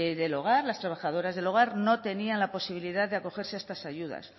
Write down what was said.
del hogar las trabajadoras del hogar no tenían la posibilidad de acogerse a estas ayudas